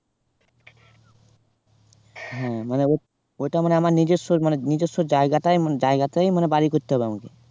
হ্যাঁ মানে ওওইটা মানে আমার নিজস্ব মানে নিজস্ব জায়গাটায় মানে জায়গাতেই বাড়ি করতে হবে আমাকে